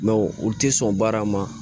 Mɛ u tɛ sɔn baara ma